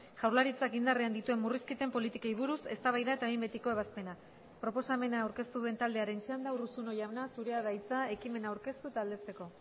jaurlaritzak indarrean dituen murrizketen politikei buruz eztabaida eta behin betiko ebazpena proposamena aurkeztu duen taldearen txanda urruzuno jauna zurea da hitza ekimena aurkeztu eta aldezteko